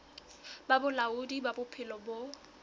ba bolaodi ba bophelo bo